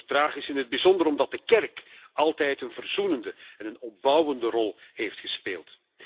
Bijzonder tragisch, in het bijzonder omdat de kerk altijd een verzoenende en opbouwende rol heeft gespeeld.